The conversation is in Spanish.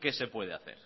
qué se puede hacer